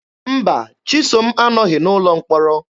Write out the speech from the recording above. Mba, Chisom anọghị n'ụlọ mkpọrọ.